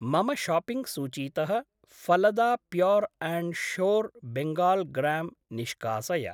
मम शाप्पिङ्ग् सूचीतः फलदा pure and sure Bengal gram निष्कासय।